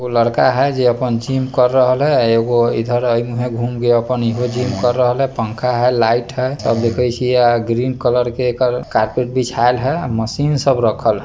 उ लड़का हई जे अपन जिम कर रहल हई एगो इधर ए मुहे घूमा के अपन इहो जिम कर रहल हई पंखा हई लाइट हई तब देखे छीये ग्रीन कलर के एकड़ कार्पेट बिछायल हई मशीन सब रखल हई।